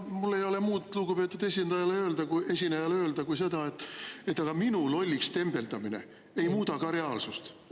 Mul ei ole muud lugupeetud esinejale öelda kui seda, et aga minu lolliks tembeldamine ei muuda ka reaalsust.